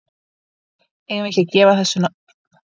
Eigum við ekki að gefa þessu bara nokkur ár?